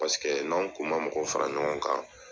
Paseke n'anw kun ma mɔgɔ fara ɲɔgɔn kan.